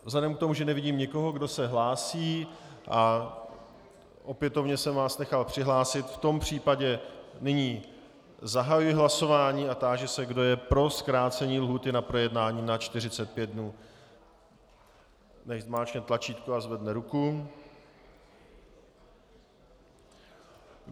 Vzhledem k tomu, že nevidím nikoho, kdo se hlásí, a opětovně jsem vás nechal přihlásit, v tom případě nyní zahajuji hlasování a táži se, kdo je pro zkrácení lhůty na projednání na 45 dnů, nechť zmáčkne tlačítko a zvedne ruku.